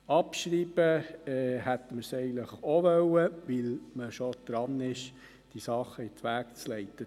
Abschreiben wollen wir es eigentlich auch, weil man schon daran ist, Dinge in die Wege zu leiten.